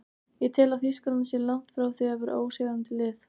Ég tel að Þýskaland sé langt frá því að vera ósigrandi lið.